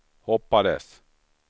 hoppades